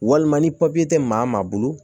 Walima ni papiye tɛ maa bolo